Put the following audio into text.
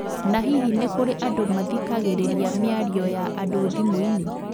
Na hihi nĩ kũrĩ andũ mathikagĩrĩria mĩario ya andũ thimũinĩ?